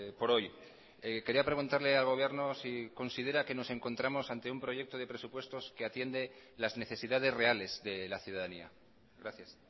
por hoy quería preguntarle al gobierno si considera que nos encontramos ante un proyecto de presupuestos que atiende las necesidades reales de la ciudadanía gracias